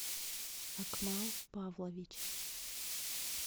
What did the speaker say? акмал павлович